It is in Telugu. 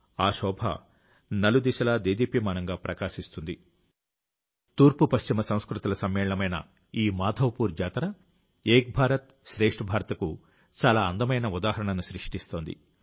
ఒక వారం పాటు భారతదేశ తూర్పు పశ్చిమ సంస్కృతుల సమ్మేళనమైన ఈ మాధవపూర్ జాతర ఏక్ భారత్ శ్రేష్ఠ భారత్కు చాలా అందమైన ఉదాహరణను సృష్టిస్తోంది